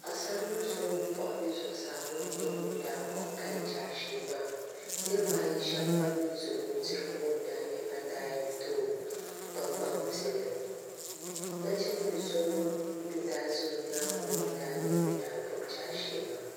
Paɣasaribili so ŋun wuɣi o nuu ŋo n nyɛ ŋun daa kpuɣi kali jaashee maa niraba ayi shab mii ban ʒɛ o luɣuli niŋo mii n nyɛ ban daa yɛn too kpaŋmaŋ pini nachimbili so ŋun mii daa ʒɛ o nyaangi ŋo mii n nyɛ ŋun daa gbubi jaashee maa